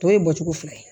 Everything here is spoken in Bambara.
Tɔ ye bɔ cogo fila ye